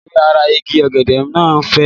Ewé ara Igi ọ̀gẹ̀dẹ̀ máa ń fè.